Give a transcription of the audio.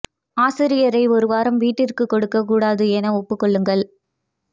ஆசிரியரை ஒரு வாரம் வீட்டிற்குக் கொடுக்கக் கூடாது என ஒப்புக் கொள்ளுங்கள்